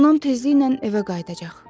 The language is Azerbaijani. Anam tezliklə evə qayıdacaq.